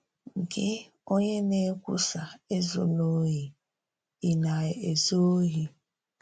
“Gị, onye na-ekwùsà ‘Ézùlà òhì,’ ị̀ na-ezù òhì?”